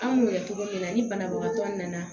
An m'o kɛ togo min na ni banabagatɔ nana